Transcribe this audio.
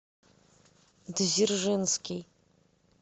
дзержинский